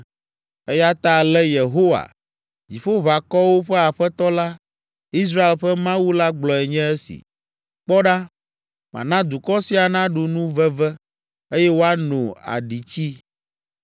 Eya ta ale Yehowa, Dziƒoʋakɔwo ƒe Aƒetɔ la, Israel ƒe Mawu la gblɔe nye esi: “Kpɔ ɖa, mana dukɔ sia naɖu nu veve, eye woano aɖitsi.